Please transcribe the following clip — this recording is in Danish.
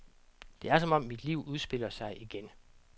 Det er som om mit liv udspiller sig igen.